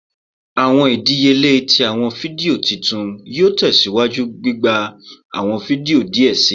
Awọn idiyele ti awọn fidio titu yoo tẹsiwaju gbigba awọn fidio diẹ sii